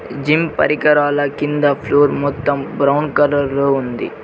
Gym పరికరాల కింద floor మొత్తం బ్రౌన్ కలర్ లో ఉంది.